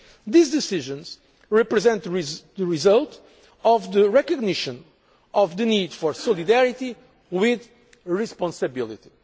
These decisions represent the result of the recognition of the need for solidarity with responsibility.